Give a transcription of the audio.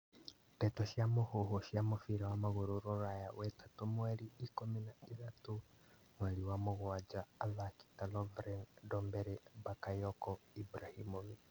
Ndeto cia mũhuhu cia mũbira wa magũrũ Rũraya wetatũ mweri ikũmi na ithatũ mweri wa mũgwanja athaki ta Lovren Ndombele, Bakayoko, Ibrahimovic